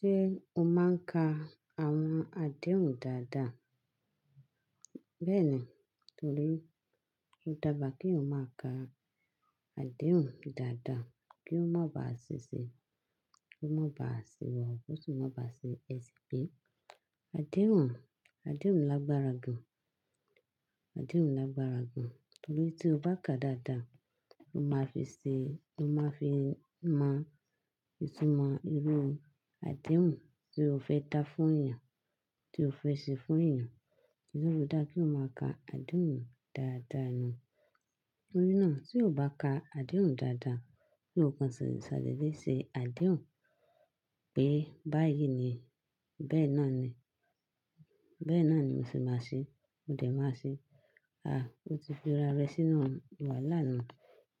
Ṣé o máa ń ka àwọn àdéhùn dáadáa? Bẹ́ẹ̀ni, torí ó dára kí o máa ka àdéhùn dáadáa kí ó má ba à ṣẹṣẹ, kí ó má ba à ṣì wọ̀, ó sì má ba à ṣe èsì bíi. Àdéhùn, àdéhùn lágbára gan. Àdéhùn lágbára gan, torí tí o bá ka dáadáa, o máa fi ṣe, o máa fi mọ ìtumọ̀ irú àdéhùn tí o fẹ́ dá fún èèyàn, tí o fẹ́ ṣe fún èèyàn. Oun tó fi dára kí o máa ka àdéhùn dáadáa nù? Nítorí náà tí o bá ka àdéhùn dáadáa, kí nǹkan ṣẹ̀lẹ̀ ṣẹ̀lẹ̀ léṣe àdéhùn pé báyìí ni, bẹ́ẹ̀ náà ni, bẹ́ẹ̀ náà ni mo sì máa ṣe, mo dẹ̀ máa ṣe. Ah! O ti fi ara rẹ sínú wàhálà nuu.